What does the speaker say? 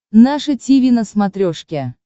наше тиви на смотрешке